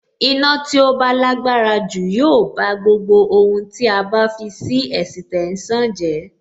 Iná tí ó bá lágbára jù yóò bá gbogbo ohun tí a bá fi sí ẹ̀sìtẹ́nsàn jẹ́.